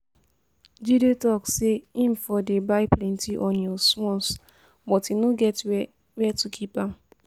Jide talk say im for dey buy plenty onions once but e no get where where to keep am